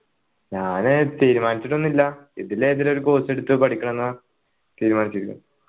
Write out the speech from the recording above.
ഞാൻ തീരുമാനിച്ചിട്ടൊന്നും ഇല്ല ഇതിലേതിലും ഒരു course എടുത്തു പേടിക്കണം ന്നാ തീരുമാനിച്ചിരിക്കുന്നത്